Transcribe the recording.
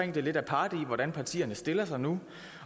lidt aparte i hvordan partierne stiller sig nu